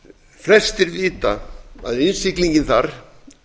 flestir vita að innsiglingin þar